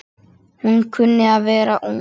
Hún kunni að vera ung.